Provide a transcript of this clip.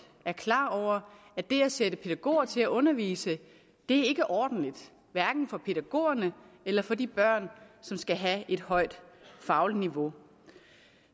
er klar over at det at sætte pædagoger til at undervise ikke er ordentligt hverken for pædagogerne eller for de børn som skal have et højt fagligt niveau